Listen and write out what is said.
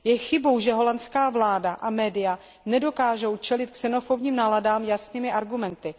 Je chybou, že nizozemská vláda a média nedokážou čelit xenofobním náladám jasnými argumenty.